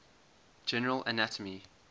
general anatomy